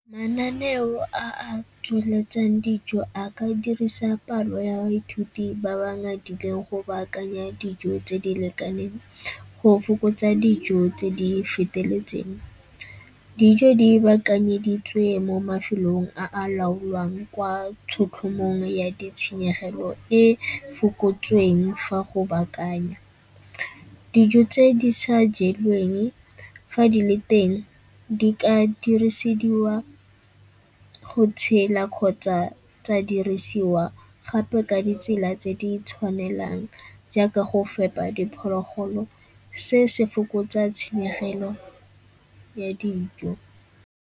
Mananeo a a tsweletsang dijo a ka dirisa palo ya baithuti ba ba ngadileng go baakanya dijo tse di lekaneng, go fokotsa dijo tse di feteletseng. Dijo di baakanyeditswe mo mafelong a a laolwang kwa tshotlhomong ya ditshenyegelo e fokotsweng fa go baakanya. Dijo tse di sa jeweng fa di le teng di ka dirisediwa go kgotsa tsa dirisiwa gape ka ditsela tse di tshwanelang jaaka go fepa diphologolo, se se fokotsa tshenyegelo ya dijo.